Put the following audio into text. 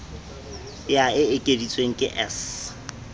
ya e ekeditsweng ke s